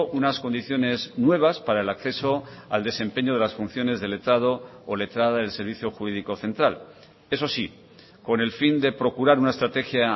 unas condiciones nuevas para el acceso al desempeño de las funciones del letrado o letrada del servicio jurídico central eso sí con el fin de procurar una estrategia